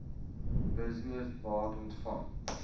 business beat ontvang